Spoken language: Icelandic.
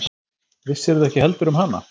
Vissirðu ekki heldur um hana?